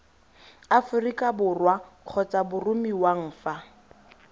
aforika borwa kgotsa boromiwang fa